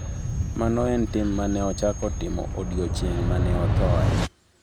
"""Mano e tim mane ochako timo odiechieng' mane othoe."""